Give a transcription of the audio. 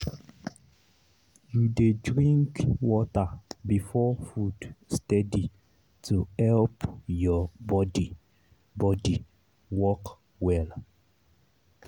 you dey drink water before food steady to help your body body work well.